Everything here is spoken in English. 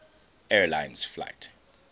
air lines flight